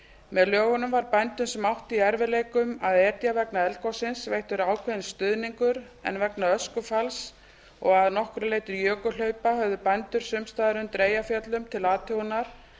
með lögunum var bændum sem áttu við erfiðleika að etja vegna eldgossins veittur ákveðinn stuðningur en vegna öskufalls og að nokkru leyti jökulhlaupa höfðu bændur sums staðar undir eyjafjöllum til athugunar